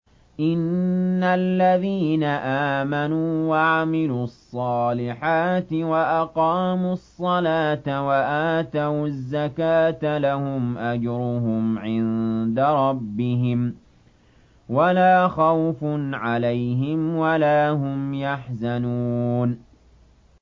إِنَّ الَّذِينَ آمَنُوا وَعَمِلُوا الصَّالِحَاتِ وَأَقَامُوا الصَّلَاةَ وَآتَوُا الزَّكَاةَ لَهُمْ أَجْرُهُمْ عِندَ رَبِّهِمْ وَلَا خَوْفٌ عَلَيْهِمْ وَلَا هُمْ يَحْزَنُونَ